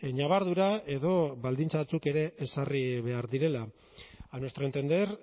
ñabardura edo baldintza batzuk ere ezarri behar direla a nuestro entender